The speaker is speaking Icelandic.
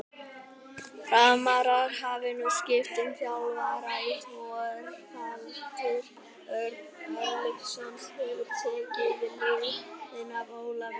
Framarar hafa nú skipt um þjálfara og Þorvaldur Örlygsson hefur tekið við liðinu af Ólafi.